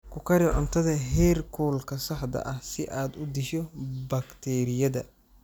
Ku kari cuntada heerkulka saxda ah si aad u disho bakteeriyada.